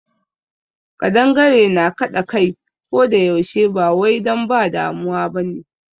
Ƙadangare na kaɗa kai ko da yaushe ba wai don ba damuwa ba ne.